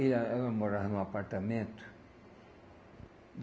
E a ela morava em um apartamento.